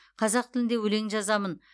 қазақ тілінде өлең жазамын